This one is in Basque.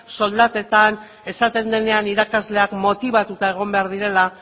soldatetan esaten denean irakasleak motibatuta egon behar direla